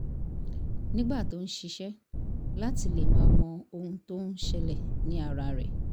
nígbà tó ń ṣiṣẹ́ láti le máa mọ ohun tó ń ṣẹlẹ̀ ní ara rẹ̀